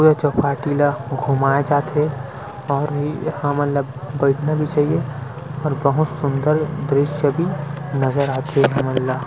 पुरे चौपाटी ल घुमाय जाथे और इ हमन ला बैठना भी चाहिए और बहोत सूंदर दृश्य भी नज़र आथे हमन ला--